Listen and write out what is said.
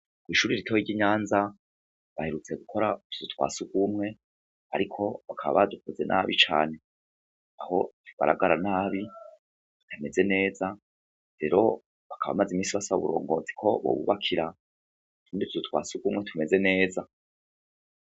Ishuri ritoya ry'inyanza baherutse gukora utuzu twasugumwe, ariko bakaba badukoze nabi cane, aho tugaragara nabi ntitumeze neza rero bakaba bamaze iminsi basaba uburongozi ko bobubakira utuzu twasugumwe tumeze neza..